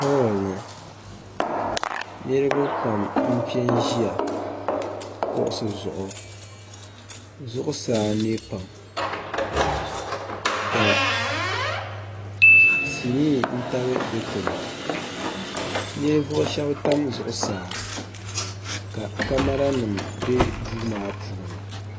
hooli ni niriba pam m-pe n-ʒiya kuɣisi zuɣu zuɣusaa ne pam ka sinii taba dikpuni ninvuɣ' shɛba tam zuɣusaa ka kamaranima be duu maa puuni